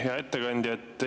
Hea ettekandja!